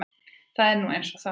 Það er nú eins og það er.